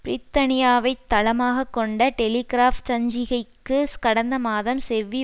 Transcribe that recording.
பிரித்தானியாவைத் தளமாக கொண்ட டெலிகிராப் சஞ்சிகைக்கு கடந்த மாதம் செவ்வி